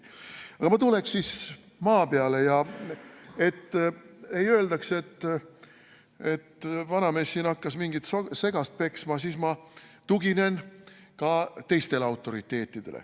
Aga ma tuleks siis maa peale ja et ei öeldaks, et vanamees hakkas mingit segast peksma, siis ma tuginen ka teistele autoriteetidele.